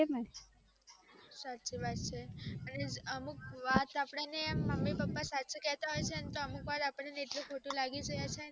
સાચી વાત છે અમુક વાર તો અપ્દને મમ્મી પપ્પાસાચું કેટ હોઈ ને તો અપ્દને એટલું ખોટું લાગે છેને